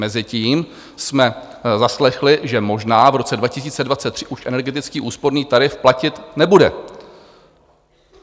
Mezitím jsme zaslechli, že možná v roce 2023 už energetický úsporný tarif platit nebude.